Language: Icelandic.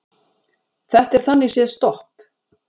Þetta er þannig séð stopp